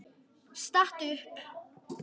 Stattu upp!